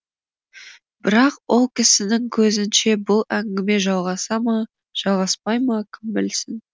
бірақ ол кісінің көзінше бұл әңгіме жалғаса ма жалғаспай ма кім білсін